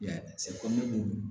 I y'a ye